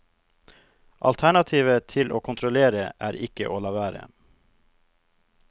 Alternativet til å kontrollere er ikke å la være.